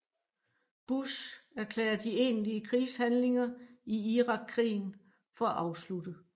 Bush erklærer de egentlige krigshandlinger i Irakkrigen for afsluttet